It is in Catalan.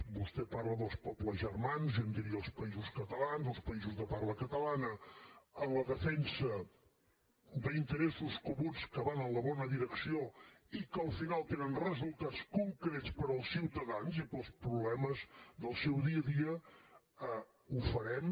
vostè parla dels pobles germans jo en diria els països catalans els països de parla catalana en la defensa d’interessos comuns que van en la bona direcció i que al final tenen resultats concrets per als ciutadans i per als problemes del seu dia a dia ho farem